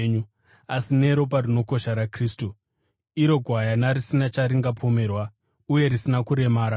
asi neropa rinokosha raKristu, iro gwayana risina charingapomerwa uye risina kuremara.